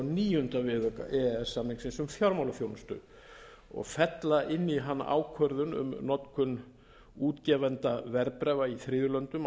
níunda viðauka e e s samningsins um fjármálaþjónustu og fella inn í hann ákvörðun um notkun útgefenda verðbréfa í þriðju löndum á